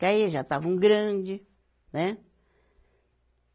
Porque aí já estavam grande, né?